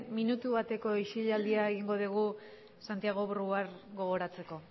minutu bateko isilialdia egingo dugu santiago brouard gogoratzeko